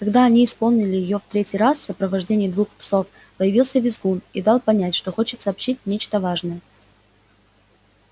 когда они исполнили её в третий раз в сопровождении двух псов появился визгун и дал понять что хочет сообщить нечто важное